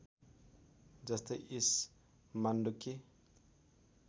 जस्तै ईश मान्डुक्य